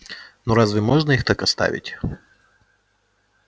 но разве можно их так оставить